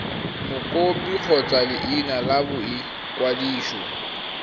mokopi kgotsa leina la boikwadiso